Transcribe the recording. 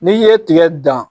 N'i ye tigɛ dan